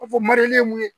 Ka fɔ ye mun ye